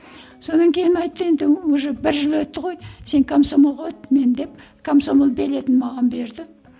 содан кейін айтты енді уже бір жыл өтті ғой сен комсомолға өт мен деп комсомол билетін маған берді